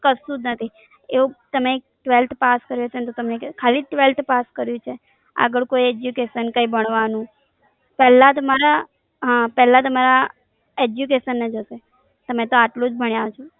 કશું જ નથી એવું તમે Twelfth પાસ કરું હશે ને તો ખાલી Twelfth પાસ કરીયુ છે આગળ કોઈ Education કઈ ભણવાનું પેલા તમારા હા પેલા તમારા Education ને જોશે તમે તો એટલું જ ભણ્યા છો.